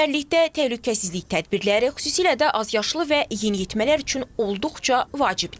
Çimərlikdə təhlükəsizlik tədbirləri, xüsusilə də azyaşlı və yeniyetmələr üçün olduqca vacibdir.